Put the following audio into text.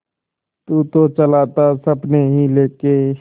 तू तो चला था सपने ही लेके